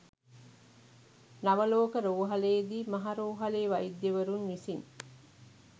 නවලෝක රෝහලේදී මහ රෝහලේ වෛද්‍යවරුන් විසින්.